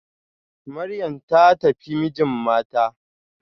Maryam ta tafi mijin mata